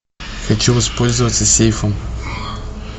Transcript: хочу воспользоваться сейфом